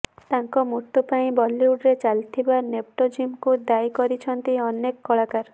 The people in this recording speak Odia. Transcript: ତାଙ୍କ ମୃତ୍ୟୁ ପାଇଁ ବଲିଉଡରେ ଚାଲିଥିବା ନେପୋଟିଜିମକୁ ଦାୟୀ କରୁଛନ୍ତି ଅନେକ କଳାକାର